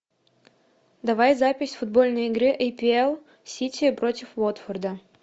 давай запись футбольной игры апл сити против уотфорда